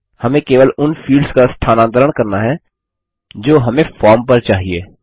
हमें केवल उन फील्ड्स का स्थानांतरण करना है जो हमें फॉर्म पर चाहिए